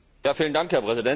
Herr Präsident!